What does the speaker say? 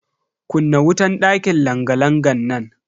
Kunna wutan dakin langa-langan nan.